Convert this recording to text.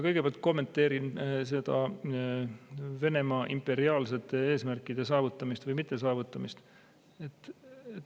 Kõigepealt ma kommenteerin seda Venemaa imperiaalsete eesmärkide saavutamist või mittesaavutamist.